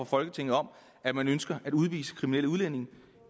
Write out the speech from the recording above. folketinget om at man ønsker at udvise kriminelle udlændinge det